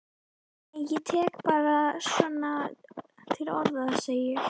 Nei ég tek bara svona til orða, segi ég.